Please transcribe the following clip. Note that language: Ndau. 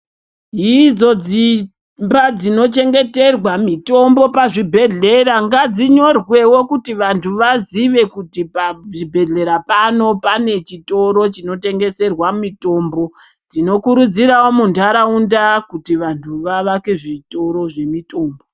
Idzo dzimba dzinochengeterwa mitombo pazvibhehlera ngadzinyorwewo kuti vanhuu vaziye kuti pachibhehlera pano pane chitoro chinotengeswa mitombo tinokurudziraro kuti vanhu munharaunda vavake zvitoro zve mitombo .